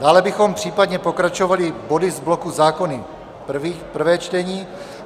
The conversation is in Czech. Dále bychom případně pokračovali body z bloku Zákony, první čtení.